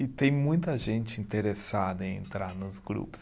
E tem muita gente interessada em entrar nos grupos.